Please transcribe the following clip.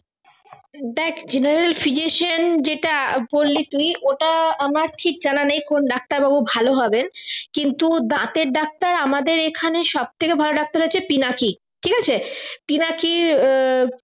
দেখ general physician যেটা বলি তুই ওটা আমার ঠিক জানা নেই কোন ডাক্তার বাবু ভালো হবেন কিন্তু দাঁতের ডাক্তার আমাদের এখানে সবথেকে ভালো ডাক্তার হচ্ছেন পিনাকী ঠিক আছে পিনাকী দেখ